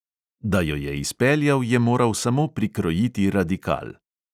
Da jo je izpeljal, je moral samo prikrojiti radikal.